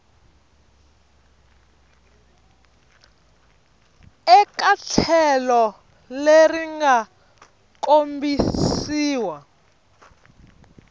eka tlhelo leri nga kombisiwa